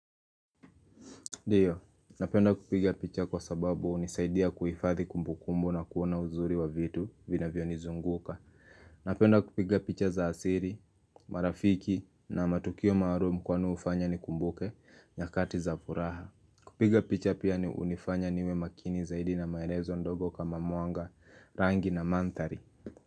Ndiyo, napenda kupiga picha kwa sababu hunisaidia kuifadhi kumbukumbu na kuona uzuri wa vitu vinavyonizunguka Napenda kupiga picha za asili, marafiki na matukio maalumu kwani hufanya nikumbuke nyakati za furaha kupiga picha pia ni hunifanya niwe makini zaidi na maelezo ndogo kama mwanga rangi na mandhari.